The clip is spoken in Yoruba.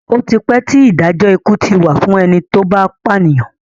Ó ti pẹ́ tí Ìdájọ́ ikú ti wà fún ẹni tó bá pànìyàn